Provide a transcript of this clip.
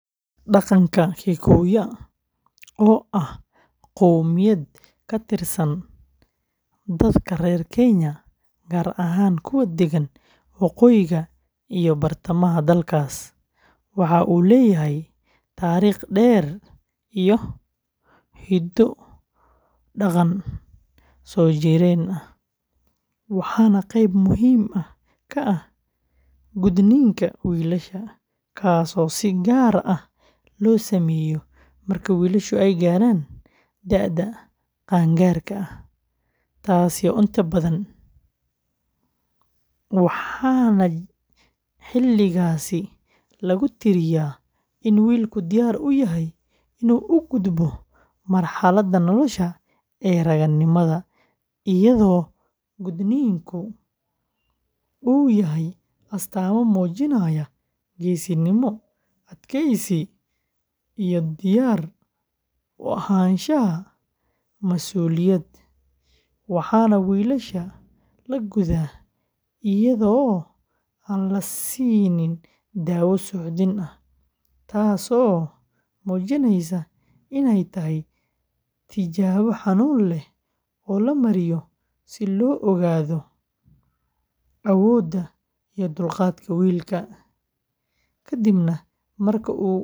Dhaqanka Kikuyu, oo ah qowmiyad ka tirsan dadka reer Kenya, gaar ahaan kuwa degan waqooyiga iyo bartamaha dalkaas, waxa uu leeyahay taariikh dheer iyo hiddo-dhaqan soo jireen ah, waxaana qayb muhiim ah ka ah gudniinka wiilasha, kaasoo si gaar ah loo sameeyo marka wiilashu gaaraan da’da qaan-gaarka ah, taasi oo inta badan u dhaxaysa, waxaana xilligaasi lagu tiriyaa in wiilku diyaar u yahay inuu u gudbo marxaladda nolosha ee ragannimada, iyadoo gudniinka uu yahay astaamo muujinaya geesinimo, adkaysi, iyo diyaar u ahaanshaha masuuliyad, waxaana wiilasha la gudaa iyada oo aan la siin daawo suuxdin ah, taasoo muujinaysa in ay tahay tijaabo xanuun leh oo la mariyo si loo ogaado awoodda iyo dulqaadka wiilka, kadibna.